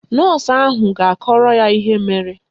Nọọsụ ahụ ga-akọrọ ya ihe mere